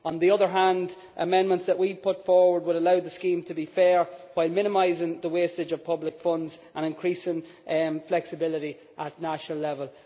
On the other hand, amendments that we put forward would allow the scheme to be fair while minimising the wastage of public funds and increasing flexibility at national level.